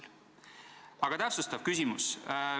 Aga nüüd täpsustav küsimus.